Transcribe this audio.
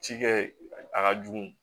Ci kɛ a ka jugu